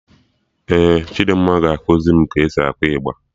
Ee, Chidimma ga-ekusi mụ ka e si akụ ịgba